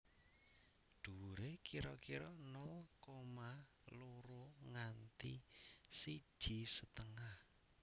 Dhuwuré kira kira nol koma loro nganti siji setengah